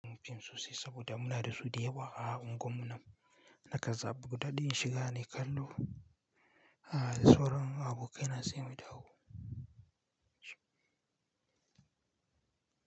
Mun fi sosai saboda muna da su da yawa a unguwarmu nan. Na kaza, buɗaɗɗin shiga ne kallo, a soro abokai na sai mu dawo.